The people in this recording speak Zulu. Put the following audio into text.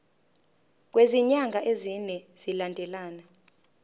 kwezinyanga ezine zilandelana